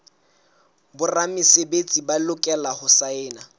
boramesebetsi ba lokela ho saena